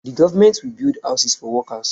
The government will build houses for the workers